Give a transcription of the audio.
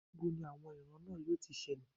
Ní bo ni àwọn ìran náà yóò ti ṣẹlẹ̀